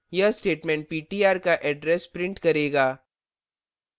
यह statement ptr का address print करेगा